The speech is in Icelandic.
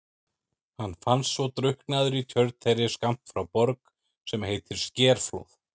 Hann fannst svo drukknaður í tjörn þeirri skammt frá Borg sem heitir Skerflóð.